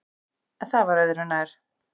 En það var öðru nær!